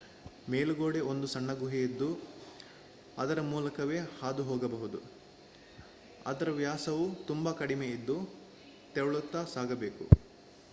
ಮೇಲುಗಡೆ ಒಂದು ಸಣ್ಣ ಗುಹೆಯಿದ್ದು ಅದರ ಮೂಲಕವೇ ಹಾದುಹೋಗಬೇಕು ಅದರ ವ್ಯಾಸವು ತುಂಬಾ ಕಡಿಮೆ ಇದ್ದು ತೆವಳುತ್ತಾ ಸಾಗಬೇಕು